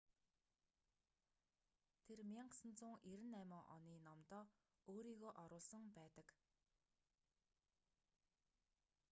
тэр 1998 оны номдоо өөрийгөө оруулсан байдаг